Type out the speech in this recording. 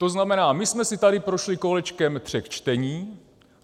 To znamená, my jsme si tady prošli kolečkem tří čtení.